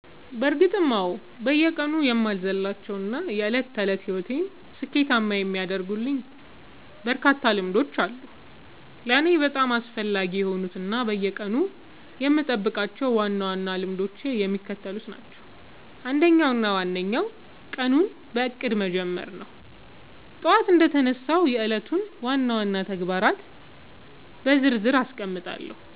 በእርግጥ አዎ፤ በየቀኑ የማልዘልላቸው እና የዕለት ተዕለት ሕይወቴን ስኬታማ የሚያደርጉልኝ በርካታ ልምዶች አሉ። ለእኔ በጣም አስፈላጊ የሆኑት እና በየቀኑ የምጠብቃቸው ዋና ዋና ልምዶች የሚከተሉት ናቸው፦ አንደኛው እና ዋነኛው ቀኑን በእቅድ መጀመር ነው። ጠዋት እንደተነሳሁ የዕለቱን ዋና ዋና ተግባራት በዝርዝር አስቀምጣለሁ፤